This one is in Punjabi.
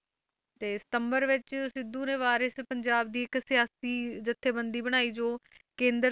ਤੇ ਸਤੰਬਰ ਵਿੱਚ ਸਿੱਧੂ ਨੇ ਵਾਰਿਸ਼ ਪੰਜਾਬ ਦੀ ਇੱਕ ਸਿਆਸੀ ਜੱਥੇਬੰਦੀ ਬਣਾਈ ਜੋ ਕੇਂਦਰ,